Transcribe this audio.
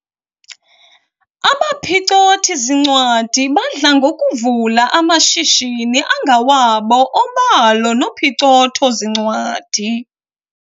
Abaphicothi-zincwadi badla ngokuvula amashishini angawabo obalo nophicotho-zincwadi.